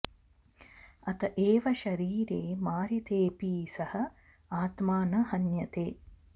अत एव शरीरे मारितेऽपि सः आत्मा न हन्यते